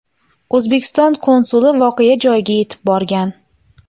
O‘zbekiston konsuli voqea joyiga yetib borgan .